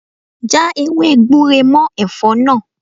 Já ewé gbure mọ́ Ẹ̀fọ́ náà.